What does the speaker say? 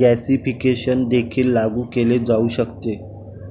gasification देखील लागू केले जाऊ शकते